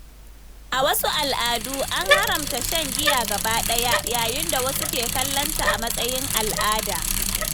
A wasu al’adu, an haramta shan giya gaba ɗaya, yayin da wasu ke kallonta a matsayin al’ada.